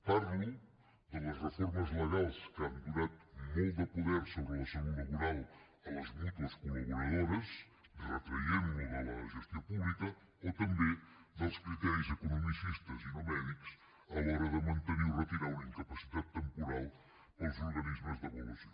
parlo de les reformes legals que han donat molt de poder sobre la salut laboral a les mútues col·laboradores retraient allò de la gestió pública o també dels criteris economicistes i no mèdics a l’hora de mantenir o retirar una incapacitat temporals pels organismes d’avaluació